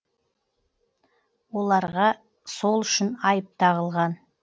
оларға сол үшін айып тағылған